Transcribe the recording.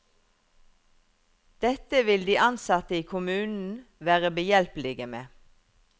Dette vil de ansatte i kommunen være behjelpelige med.